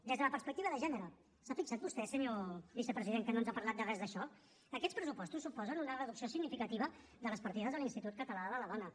des de la perspectiva de gènere s’ha fixat vostè senyor vicepresident que no ens ha parlat de res d’això aquests pressupostos suposen una reducció significativa de les partides de l’institut català de la dona